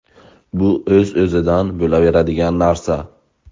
Bu o‘z-o‘zidan bo‘laveradigan narsa.